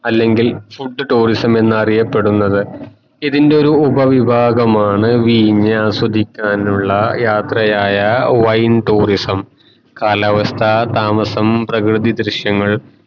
അല്ലെങ്കിൽ food tourism ഇതിന്റെ ഒരു ഉപ വിഭാഗമാണ് വീഞ്ഞാസ്വദിക്കാനുള്ള യാത്രയായ wine tourism കാലാവസ്ഥ താമസം പ്രകൃതി ദൃശ്യങ്ങൾ